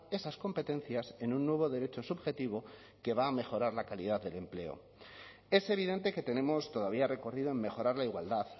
esas competencias en un nuevo derecho subjetivo que va a mejorar la calidad del empleo es evidente que tenemos todavía recorrido en mejorar la igualdad